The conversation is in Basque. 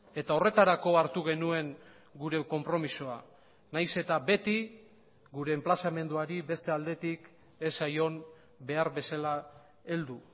eta horretarako hartu genuen gure konpromisoa nahiz eta beti gure enplazamenduari beste aldetik ez zaion behar bezala heldu